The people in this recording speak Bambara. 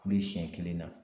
Kulu siɲɛ kelen na.